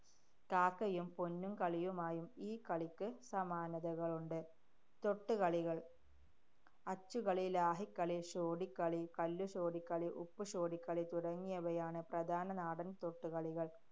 കാക്കയും പൊന്നും കളിയുമായും ഈ കളിക്ക് സമാനതകളുണ്ട്. തൊട്ടുകളികള്‍. അച്ചുകളി, ലാഹിക്കളി, ഷോഡിക്കളി, കല്ലു ഷോഡിക്കളി, ഉപ്പുഷോഡിക്കളി തുടങ്ങിയവയാണ് പ്രധാന നാടന്‍ തൊട്ടുകളികള്‍.